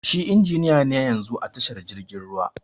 Shi injiniya ne yanzun a tashar jirgin ruwa.